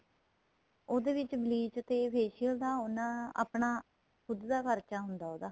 ਉਹਦੇ ਵਿੱਚ bleach ਤੇ facial ਦਾ ਉਹਨਾ ਤੇ ਆਪਣਾ ਖੁੱਦ ਦਾ ਖਰਚਾ ਹੁੰਦਾ ਉਹਦਾ